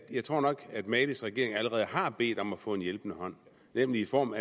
jeg tror at malis regering allerede har bedt om at få en hjælpende hånd nemlig i form